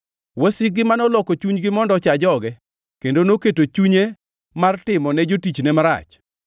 wasikgi ma noloko chunygi mondo ocha joge, kendo noketo chunye mar timo ne jotichne marach.